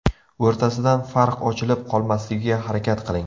O‘rtasidan farq ochilib qolmasligiga harakat qiling.